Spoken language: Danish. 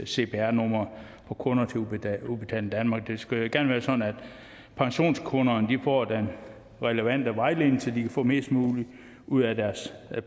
cpr numre fra kunder til udbetaling udbetaling danmark det skal jo gerne være sådan at pensionskunderne får den relevante vejledning så de kan få mest muligt ud af deres